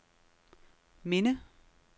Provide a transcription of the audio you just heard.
minde